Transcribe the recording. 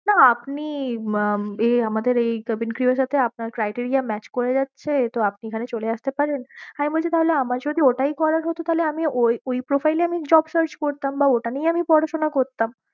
না আপনি উম এই আমাদের এই Kevin Crew এর সাথে আপনার criteria match করে যাচ্ছে তো আপনি এখানে চলে আসতে পারেন, আমি বলছি তাহলে আমার যদি ওটাই করার হত তাহলে আমি ঐ profile এই আমি job search করতাম, বা ওটা নিয়েই আমি পড়াশোনা করতাম